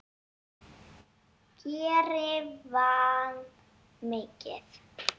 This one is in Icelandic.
Geiri vann mikið.